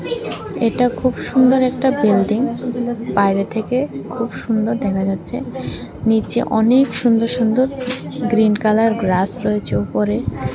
এটা খুব সুন্দর একটা বিল্ডিং বাইরে থেকে খুব সুন্দর দেখা যাচ্ছে নীচে অনেক সুন্দর সুন্দর গ্রীন কালার গ্রাস রয়েছে উপরে।